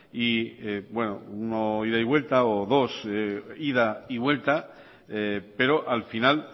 bueno uno ida y vuelta o dos ida y vuelta pero al final